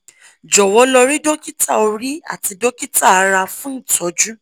jowo lo ri dokita ori ati dokita ara fun itoju